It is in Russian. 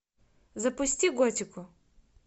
запусти готику